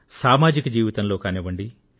సామాజిక జీవితంలో కానివ్వండి